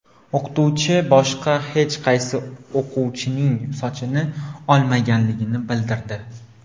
O‘qituvchi boshqa hech qaysi o‘quvchining sochini olmaganligini bildirdi.